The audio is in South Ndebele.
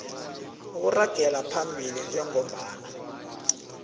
okuragela phambili njengombana